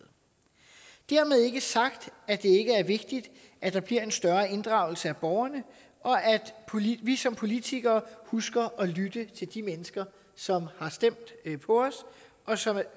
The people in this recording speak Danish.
dermed ikke sagt at det ikke er vigtigt at der bliver en større inddragelse af borgerne og at vi som politikere husker at lytte til de mennesker som har stemt på os og